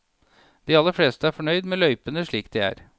De aller fleste er fornøyd med løypene slik de er.